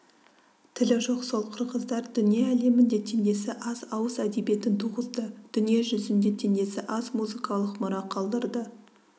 тілі жоқ сол қырғыздар дүние әлемінде теңдесі аз ауыз әдебиетін туғызды дүние жүзінде теңдесі аз музыкалық мұра қалдырды